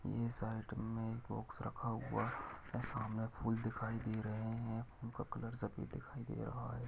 ये साइट में एक बॉक्स रखा हुआ सामने फूल दिखाई दे रहे हैं फूल का कलर सफेद दिखाई दे रहा है।